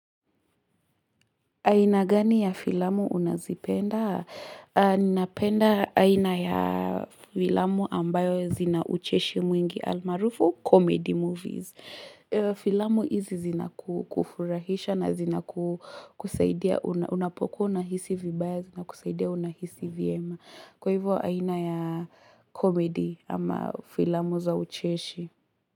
Aina gani ya filamu unazipenda? Ninapenda aina ya filamu ambayo zina ucheshi mwingi almaarufu, comedy movies. Filamu hizi zina kufurahisha na zina kusaidia, unapokua unahisi vibaya, zina kusaidia unahisi vyema. Kwa hivyo aina ya comedy ama filamu za ucheshi.